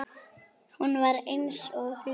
Hún var eins og lömuð.